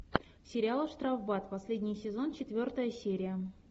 сериал штрафбат последний сезон четвертая серия